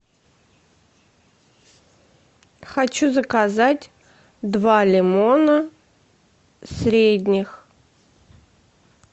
хочу заказать два лимона средних